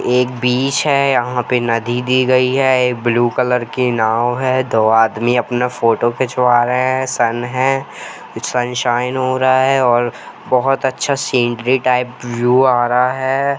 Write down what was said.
एक बीच है यहां पर नदी दी गई है ब्लू कलर की नाव है दो आदमी अपना फोटो खिंचवा रहे हैं सन है सनशाइन हो रहा है और बहुत अच्छा सीनरी टाइप बीयू आ रहा है।